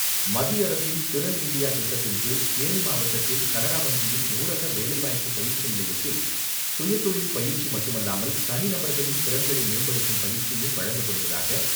மத்திய அரசின் " திறன் இந்தியா 'திட்டத்தின் கீழ் தேனி மாவட்டத்தில் கனரா வங்கியின் ஊரக வேலைவாய்ப்பு பயிற்சி நிலையத்தில் சுயதொழில் பயிற்சி மட்டுமல்லாமல் தனி நபர்களின் திறன்களை மேம்படுத்தும் பயிற்சியும் வழங்கப்படுவதாக